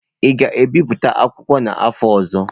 Ị ga-ebipụta akwụkwọ a n'afọ ọzọ?